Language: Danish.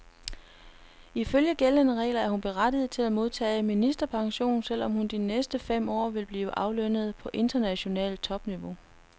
Ifølge gældende regler er hun berettiget til at modtage ministerpension, selv om hun de næste fem år vil blive aflønnet på internationalt topniveau.